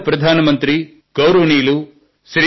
ప్రియమైన నా దేశ వాసులారా